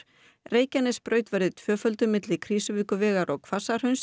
Reykjanesbraut verði tvöfölduð milli Krýsuvíkurvegar og